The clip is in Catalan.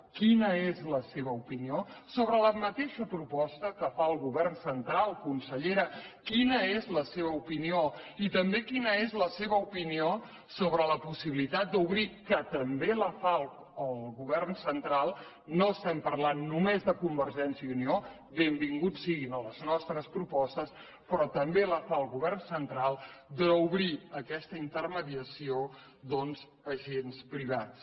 quina és la seva opinió sobre la mateixa proposta que fa el govern central consellera quina és la seva opinió i també quina és la seva opinió sobre la possibilitat d’obrir que també la fa el govern central no estem parlant només de convergència i unió benvinguts siguin a les nostres propostes però també la fa el central aquesta intermediació doncs a agents privats